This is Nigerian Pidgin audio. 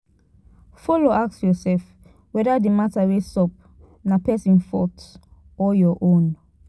follow ask ursef weda di mata wey sup na pesin fault or ur own